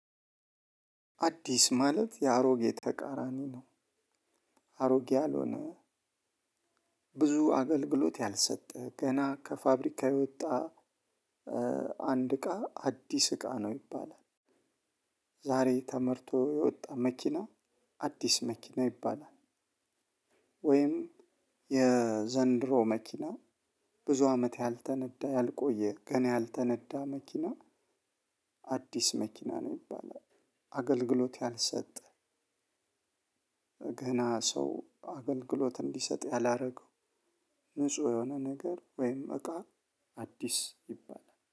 አዲስ ማለት የአሮጌ ተቃራኒ ነው። አሮጌ ያልሆነ፣ ብዙ አገልግሎት ያልሰጠ፣ ገና ከፋብሪካ የወጣ አንድ እቃ አዲስ እቃ ነው ይባላል። ዛሬ ተመርቶ የወጣ መኪና አዲስ መኪና ይባላል። ወይም የዘንድሮ መኪና ብዙ አመት ያልተነዳ ያልቆየ ገና ያልተነዳ መኪና አዲስ መኪና ነው ይባላል። አገልግሎት ያልሰጠ፣ ገና ሰው አገልግሎት እንዲሰጥ ያላደረገው፣ ንጹህ የሆነ ነገር ወይም እቃ አዲስ ይባላል።